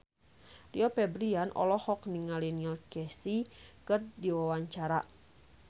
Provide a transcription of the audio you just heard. Rio Febrian olohok ningali Neil Casey keur diwawancara